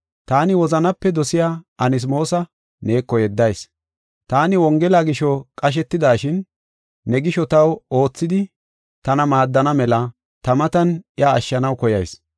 Taani wozanape dosiya Anasmoosa neeko yeddayis. Taani Wongela gisho qashetidashin, ne gisho taw oothidi tana maaddana mela ta matan iya ashshanaw koyas.